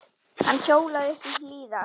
Hann hjólaði uppí Hlíðar.